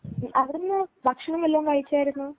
അവിടുന്ന് ഭക്ഷണം വല്ലതും കഴിച്ചായിരുന്നോ.